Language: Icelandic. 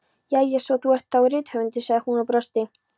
Jæja, svo þú ert þá rithöfundur, sagði hún og brosti.